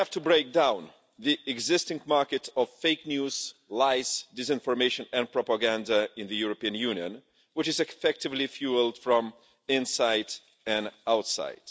We have to break down the existing market for fake news, lies, disinformation and propaganda in the European Union, which is effectively fuelled from inside and outside.